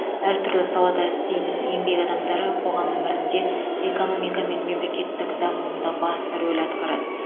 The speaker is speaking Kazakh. әртүрлі салада істейтін еңбек адамдары қоғам өмірінде экономика мен мемлекеттің дамуында басты рөл атқарады